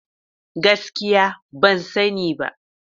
Gaskiya! Ban sani ba.